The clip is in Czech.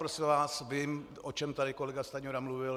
Prosím vás, vím, o čem tady kolega Stanjura mluvil.